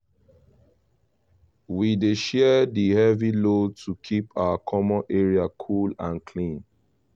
we dey share di heavy load to keep our common area cool and clean